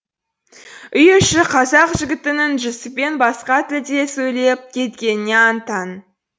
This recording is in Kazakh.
үй іші қазақ жігітінің жүсіппен басқа тілде сөйлеп кеткеніне аң таң